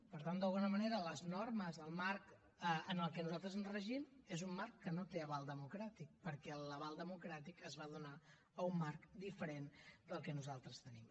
per tant d’alguna manera les normes el marc en el que nosaltres ens regim és un marc que no té aval democràtic perquè l’aval democràtic es va donar a un marc diferent del que nosaltres tenim